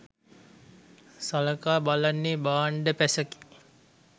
සලකා බලන්නේ 'භාණ්ඩ පැස'කි.